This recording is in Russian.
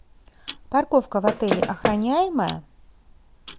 парковка в отеле охраняемая